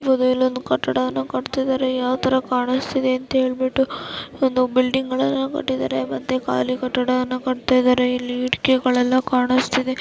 ನೋಡಬೊದು ಇಲ್ಲಿ ಒಂದು ಕಟ್ಟಡನ ಕಟ್ಟಿತಿದರೆ ಯಾವ ತರ ಕಾಣಿಸ್ತಿದೆ ಅಂತ ಹೇಳ್ಬಿಟ್ಟು ಒಂದು ಬಿಲ್ಡಿಂಗ್ಗಳನ್ನ ಕಟ್ಟಿದರೆ ಮತ್ತೆ ಖಾಲಿ ಕಟ್ಟಡನ ಕಟ್ಟ್ತಿದರೆ ಇಲ್ಲಿ ಇಟ್ಟಿಗೆಗಳೆಲ್ಲಾ ಕಾಣಿಸ್ತಿದೆ.